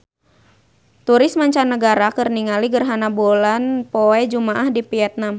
Turis mancanagara keur ningali gerhana bulan poe Jumaah di Vietman